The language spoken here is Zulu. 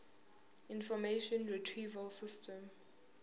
information retrieval system